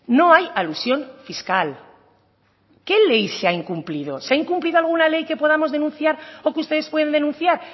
no hay alusión fiscal qué ley se ha incumplido se ha incumplido alguna ley que podamos denunciar o que ustedes pueden denunciar